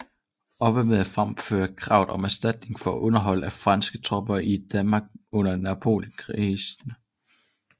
Hoppe med at fremføre kravet om erstatning for underhold af franske tropper i Danmark under Napoleonskrigene